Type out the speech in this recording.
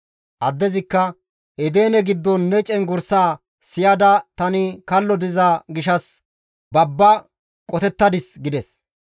Addezikka, «Edene giddon ne cenggurssaa siyada tani kallo diza gishshas babbada qotettadis» gides.